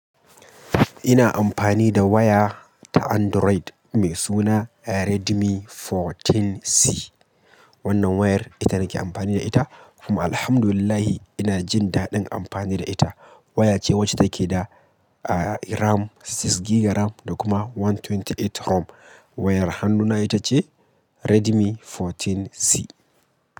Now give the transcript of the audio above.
Ina amfani da waya ta Android mai suna Redmi 14C. Wannan wayar ita nake amfani da ita, kuma alhamdulillah ina jin daɗin amfani da ita. Waya ce wacce take da RAM, six gig RAM, da kuma 128 ROM. Wayar hannuna ita ce Redmi 14C.